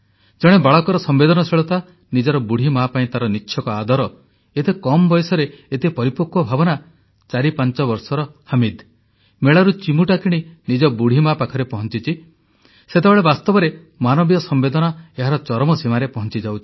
ଜଣେ ବାଳକର ସମ୍ବେଦନଶୀଳତା ନିଜର ବୁଢ଼ୀ ମା ପାଇଁ ତାର ନିଚ୍ଛକ ଆଦର ଏତେ କମ୍ ବୟସରେ ଏତେ ପରିପକ୍ୱ ଭାବନା 45 ବର୍ଷର ହମିଦ୍ ମେଳାରୁ ଚିମୁଟା କିଣି ନିଜ ବୁଢ଼ୀ ମା ପାଖରେ ପହଂଚିଛି ସେତେବେଳେ ବାସ୍ତବରେ ମାନବୀୟ ସମ୍ବେଦନା ଏହାର ଚରମ ସୀମାରେ ପହଂଚିଯାଉଛି